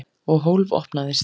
Og hólf opnaðist.